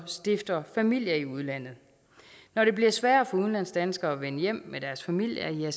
så stifter familie i udlandet når det bliver sværere for udlandsdanskere at vende hjem med deres familie